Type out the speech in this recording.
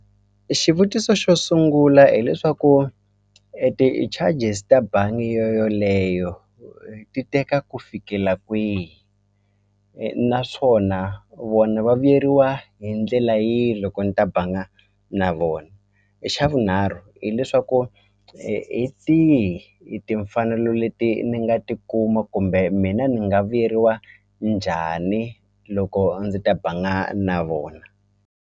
Xivutiso xo sungula hileswaku ti-charges ta bangi yo yoleyo ti teka ku fikela kwihi naswona vona va vuyeriwa hi ndlela yihi loko ni ta banga na vona e xa vunharhu hileswaku hi tihi i timfanelo leti ni nga tikuma kumbe mina ni nga vuyeriwa njhani loko ndzi ta banga na vona.